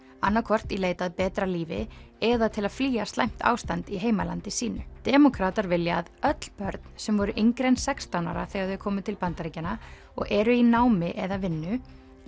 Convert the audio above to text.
annað hvort í leit að betra lífi eða til að flýja slæmt ástand í heimalandi sínu demókratar vilja að öll börn sem voru yngri en sextán ára þegar þau komu til Bandaríkjanna og eru í námi eða vinnu